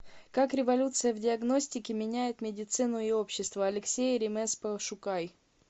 как революция в диагностике меняет медицину и общество алексей ремез пошукай